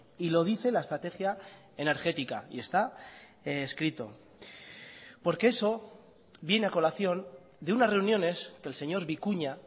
y lo dice la estrategia energética y está escrito porque eso viene a colación de unas reuniones que el señor vicuña